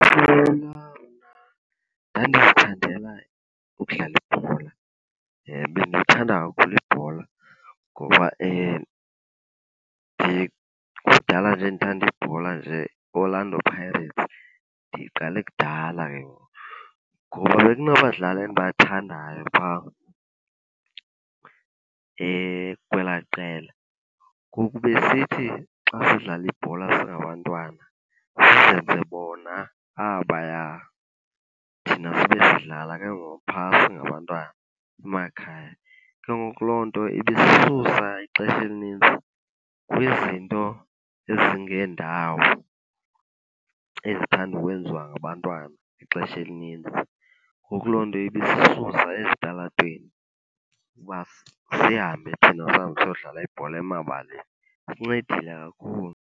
Ndikhula mna ndandizithandela ukudlala ibhola. Bendiyithanda kakhulu ibhola, ngoba kudala nje ndithanda ibhola nje iOrlando Pirates ndiyiqale kudala . Ngoba bekunabadlali endibathandayo phaa kwelaa qela. Ngoku besisithi xa sidlala ibhola singabantwana sizenze bona abaya, thina sibe sidlala ke ngoku phaa singabantwana emakhaya. Ke ngoku loo nto ibisisusa ixesha elinintsi kwizinto ezingendawo ezithanda ukwenziwa ngabantwana ixesha elininzi. Ngoku loo nto ibisisusa ezitalatweni ukuba sihambe thina sihambe siyodlala ibhola emabaleni. Isincedile kakhulu.